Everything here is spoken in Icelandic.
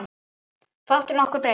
Fátt ef nokkuð hefur breyst.